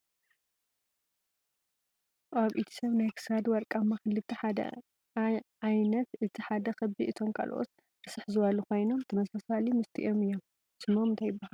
ኣብ ኢድ ስብ ናይ ክሳድ ወርቃማ ክልተ ሓደ ዓይንት እቲ ሓደ ኽቢ እቶም ካሎት ርስሕ ዝብሉ ኮይኖም ተምሳሳሊ ምስቲኦም እዩም ። ስሞም ታይ ይብሃሉ?